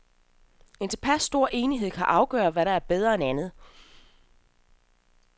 En tilpas stor enighed kan afgøre, hvad der er bedre end andet.